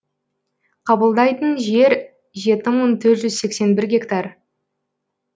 қабылдайтын жер жеті мың төрт жүз сексен бір гектар